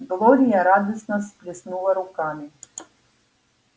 глория радостно всплеснула руками